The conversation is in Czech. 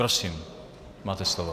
Prosím, máte slovo.